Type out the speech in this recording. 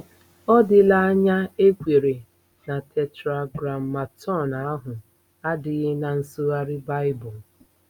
Ọ dịla anya e kweere na Tetragrammaton ahụ adịghị ná nsụgharị Baịbụl.